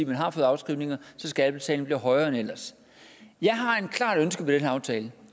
man har fået afskrivninger så skattebetalingen bliver højere end ellers jeg har et klart ønske med den her aftale